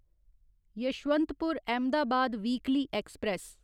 Yesvantpur Ahmedabad weekly express